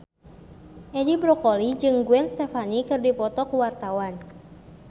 Edi Brokoli jeung Gwen Stefani keur dipoto ku wartawan